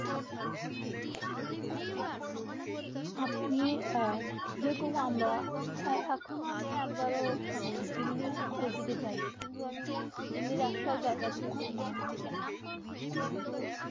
আপনি যেরকম আমরা আখনো আমি এক বার দিল্লী ওদিক যায়নি কিন্তু আমি দিল্লী একটাও জায়গা যেরকম নাম আমি জন্য না কিন্তু